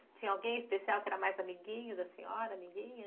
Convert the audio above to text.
Tinha alguém especial que era mais amiguinho da senhora, amiguinha?